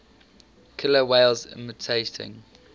killer whales imitating